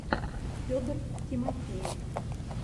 федор тимофеев